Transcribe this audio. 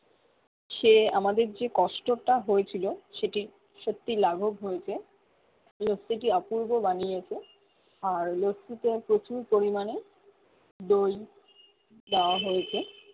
সে আমাদের কষ্ট টা হয়েছিলো সেটি সত্যি লাঘব হয়েছে এই লত্তি টি অপূর্ব বানিয়েছে আর লত্তি তে প্রচুর পরিমানে দই চাওয়া হয়েছে